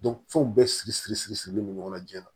fɛnw bɛɛ siri siri siri sirilen no ɲɔgɔn na jiyɛn na